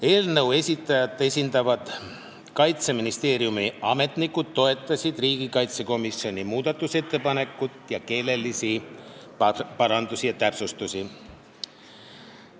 Eelnõu esitajat esindavad Kaitseministeeriumi ametnikud toetasid riigikaitsekomisjoni muudatusettepanekut ning keelelisi parandusi ja täpsustusi.